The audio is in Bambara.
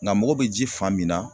Nga mago bɛ ji fan min na